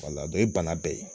Wala i ban na bɛɛ ye